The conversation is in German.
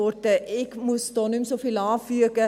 Ich muss da nicht mehr so viel anfügen.